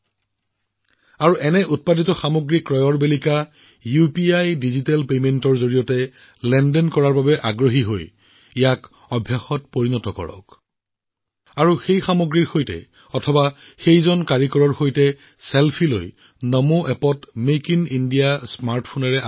এই কথা মন ৰাখিব এনে সামগ্ৰী ক্ৰয় কৰাৰ সময়ত আমি ইউপিআই ডিজিটেল পেমেণ্ট ব্যৱস্থাৰ জৰিয়তে ধনাদায় কৰিম যাতে আমাৰ দেশক লৈ গৌৰৱ কৰিব পাৰো জীৱনত ইয়াক অভ্যাস কৰি তোলা আৰু সেই প্ৰডাক্টৰ সৈতে বা সেই শিল্পীজনৰ সৈতে মোৰ সৈতে NamoAppত এখন ছেলফি শ্বেয়াৰ কৰা আৰু সেইটোও এটা মেড ইন ইণ্ডিয়া স্মাৰ্ট ফোনত